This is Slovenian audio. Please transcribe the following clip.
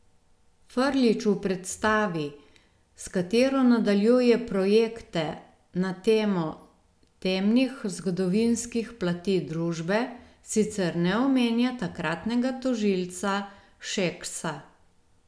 Frljić v predstavi, s katero nadaljuje projekte na temo temnih zgodovinskih plati družbe, sicer ne omenja takratnega tožilca Šeksa.